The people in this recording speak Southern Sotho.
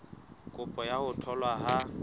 kopo ya ho tholwa ha